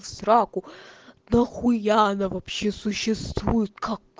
в сраку нахуя она вообще существует как